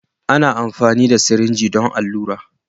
Ana amfani da sirinji don allura.